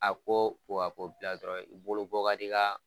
A ko ko a ko bila dɔrɔn i bolo bɔ ka di gaa